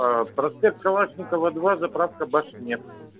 аа проспект калашникова два заправка башнефть